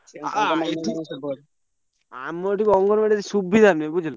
ଆମ ଏଠି ଅଙ୍ଗନ ବାଡି ରେ ସୁବିଧା ନାଇଁ ବୁଝିଲୁ।